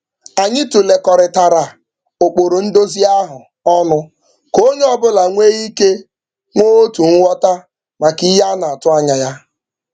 Anyị tụlekọrịtara ụkpụrụ nduzi ahụ ọnụ ka onye ọbụla nwee ike nwee otu nghọta maka ihe a na-atụ anya ya.